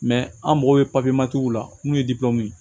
an mago bɛ la n'u ye